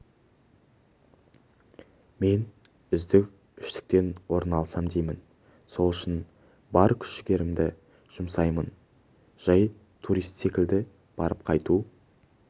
мен үздік үштіктен орын алсам деймін сол үшін бар күш-жігерімді жұмсаймын жай турист секілді барып қайту